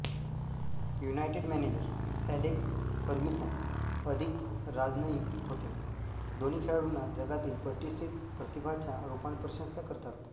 United manager Alex Ferguson अधिक राजनयिक होते दोन्ही खेळाडूंना जगातील प्रतिष्ठित प्रतिभाच्या रूपात प्रशंसा करतात